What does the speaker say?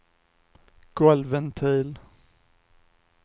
golvventil